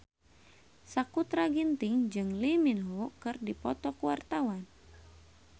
Sakutra Ginting jeung Lee Min Ho keur dipoto ku wartawan